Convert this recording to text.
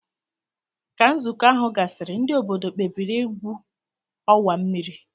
Ka nzukọ ahu gasiri ndi obodo kpebiri igwu owa mmiri.